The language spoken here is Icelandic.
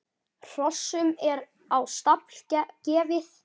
Hrossum er á stall gefið.